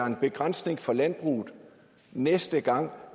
en begrænsning for landbruget næste gang